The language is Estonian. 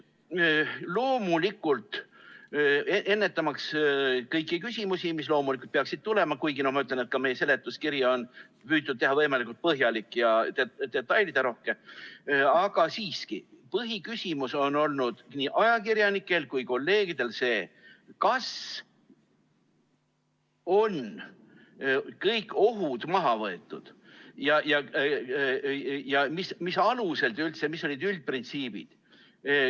Loomulikult, ennetamaks kõiki küsimusi, mis peaksid tulema, kuigi ka seletuskiri on püütud teha võimalikult põhjalik ja detailirohke, ütlen, et põhiküsimus on nii ajakirjanikel kui ka kolleegidel siiski olnud see, kas on kõik ohud maha võetud ja mis alusel üldse, mis olid üldprintsiibid.